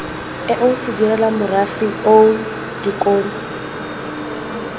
eo sedirela morafe oo dikolo